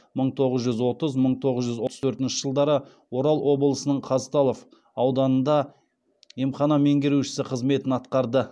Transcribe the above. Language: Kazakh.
мың тоғыз жүз отыз мың тоғыз жүз отыз төртінші жылдары орал облысының казталов ауданында емхана меңгеруші қызметін атқарды